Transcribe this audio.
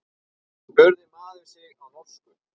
spurði maður sig á norsku.